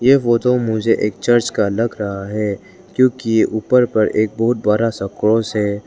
ये फोटो मुझे एक चर्च का लग रहा है क्योंकि ऊपर पर एक बहुत बड़ा सा क्रॉस है।